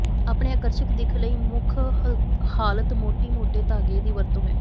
ਆਪਣੇ ਆਕਰਸ਼ਕ ਦਿੱਖ ਲਈ ਮੁੱਖ ਹਾਲਤ ਮੋਟੀ ਮੋਟੇ ਧਾਗੇ ਦੀ ਵਰਤੋ ਹੈ